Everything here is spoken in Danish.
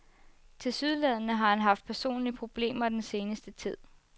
Tilsyneladende har han haft personlige problemer den seneste tid.